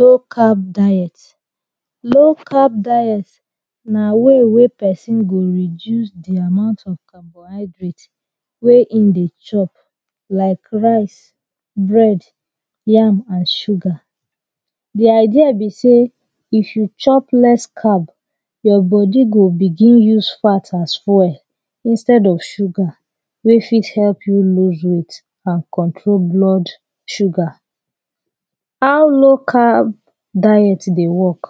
Low carb diet Low carb diet na way wey person go reduce de amount of carbohydrates wey him dey chop like rice bread yam and sugar the idea be say if you chop less carb your body go begin loose fats as well well instead of sugar wey fit help you loose weight and control blood sugar. how low carb diet dey work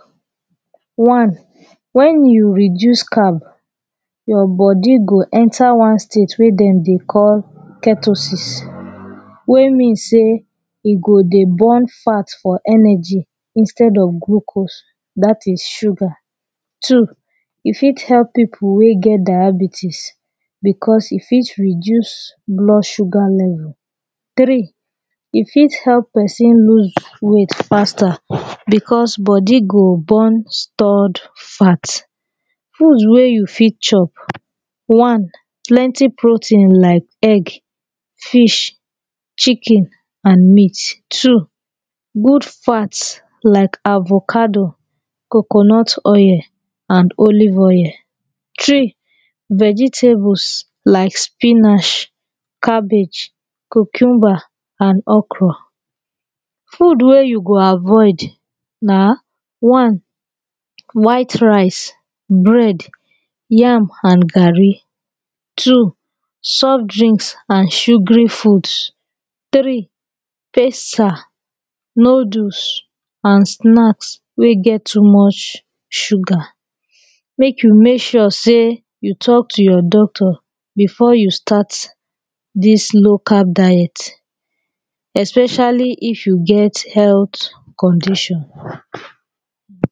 when you reduce carb your body go enter one state wey dem dey call ketosis wey mean say e go dey burn fat for energy instead of glucose that is sugar Two e fit help people wey get diabetes because e fit reduce blood sugar level Three e fit help person loose weight faster because body go burn stored fat Food wey you fit chop One plenty protein like egg fish chicken and meat Two good fat like avocado coconut oil and olive oil Three vegetables like spinach, cabbage, cucumber and okro Food wey you go avoid na One white rice bread yam and garri Two soft drinks an sugary food Three pasta, noodles and snacks wey get too much sugar. Mek you make sure seh you talk to your doctor before you start dis low carb diet especially if you get healt condition